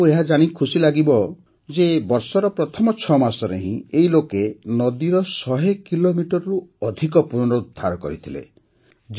ଆପଣଙ୍କୁ ଏହାଜାଣି ଖୁସି ଲାଗିବ ଯେ ବର୍ଷର ପ୍ରଥମ ୬ ମାସରେ ହିଁ ଏହି ଲୋକେ ନଦୀର ୧୦୦ କିଲୋମିଟରରୁ ଅଧିକ ପୁନରୁଦ୍ଧାର କରିଥିଲେ